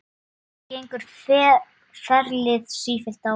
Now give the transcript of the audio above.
Þannig gengur ferlið sífellt áfram.